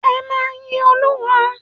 Ẹ máa yin Olúwa.